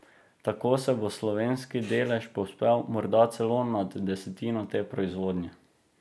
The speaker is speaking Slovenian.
Tako se bo slovenski delež povzpel morda celo nad desetino te proizvodnje.